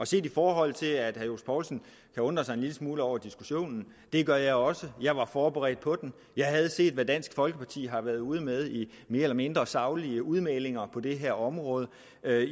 set i forhold til at herre johs poulsen undrer sig en lille smule over diskussionen det gør jeg også jeg var forberedt på den jeg havde set hvad dansk folkeparti har været ude med af mere eller mindre saglige udmeldinger på det her område